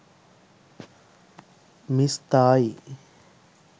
miss thai